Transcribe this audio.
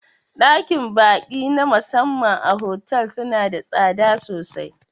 Ɗakin ba'i na musamman a fotel suna da tsada sosai